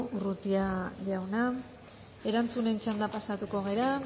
urrutia jauna erantzunen txandara pasatuko gara